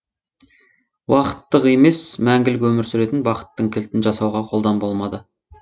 уақыттық емес мәңгілік өмір сүретін бақыттың кілтін жасауға қолдан болмады